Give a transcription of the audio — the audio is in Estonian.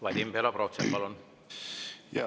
Vadim Belobrovtsev, palun!